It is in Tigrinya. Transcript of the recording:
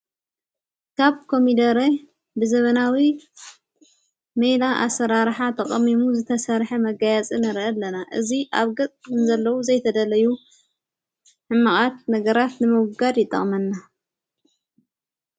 ካብ ቆሚደሬ ብዘበናዊ መይላ ኣሠራራኃ ተቐሚሙ ዝተሠርሐ መጋያጽንረኢ ኣለና እዙይ ኣብ ገጽኩን ዘለዉ ዘይተደለዩ ሕማቓት ነገራት ንመጕጋድ ይጣቕመና።